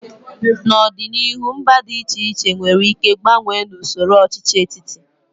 N'ọdịnihu, mba dị iche iche nwere ike gbanwee n'usoro ọchịchị etiti.